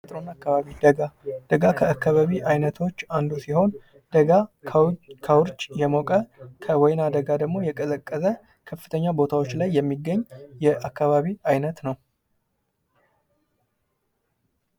አካባቢ ደጋ ደጋ አካባቢ አይነቶች አንዱ ሲሆን ደጋ ከውርጭ የሞቀ ከወይና ደጋ ደግሞ የቀዘቀዘ ከፍተኛ ቦታዎች ላይ የሚገኝ የአካባቢ አይነት ነው።